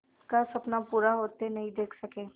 का सपना पूरा होते नहीं देख सके